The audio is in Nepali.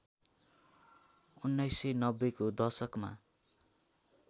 १९९० को दशकमा